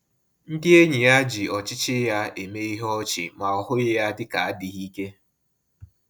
Ndị enyi ya ji ọchịchị ya eme ihe ọchị, ma ọ hụghị ya dịka adịghị ike